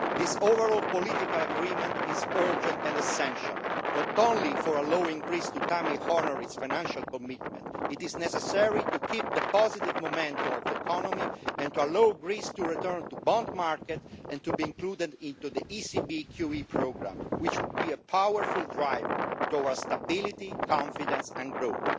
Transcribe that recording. This overall political agreement is urgent and essential, not only for allowing Greece to honour its financial commitment in good time, but is necessary to keep up the positive momentum of the economy and to allow Greece to return to bond markets and to be included in the ECB QE programme, which will be a powerful driver towards stability, confidence and growth.